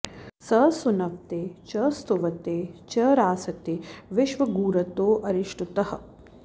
स सु॑न्व॒ते च॑ स्तुव॒ते च॑ रासते वि॒श्वगू॑र्तो अरिष्टु॒तः